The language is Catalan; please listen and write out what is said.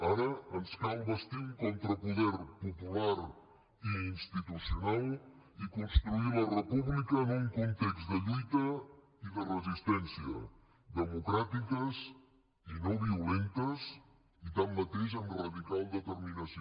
ara ens cal bastir un contrapoder popular i institucional i construir la república en un context de lluita i de resistència democràtiques i no violentes i tanmateix amb radical determinació